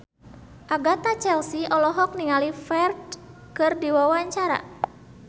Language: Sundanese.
Agatha Chelsea olohok ningali Ferdge keur diwawancara